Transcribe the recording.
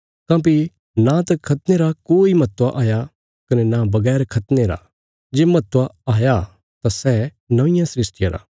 काँह्भई नांत खतने रा कोई महत्व हाया कने नां बगैर खतने रा जे महत्व हाया तां सै नौंईयां सृष्टिया रा